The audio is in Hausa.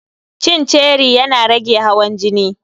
Cin ceri yana rage hawan jini.